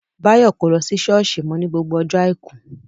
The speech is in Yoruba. Báyọ̀ kò lọ ṣọ́ọ̀ṣì mọ́ ni gbogbo ọjọ́ àìkú